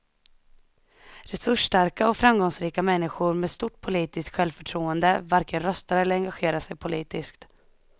Resursstarka och framgångsrika människor med stort politiskt självförtroende varken röstar eller engagerar sig politiskt.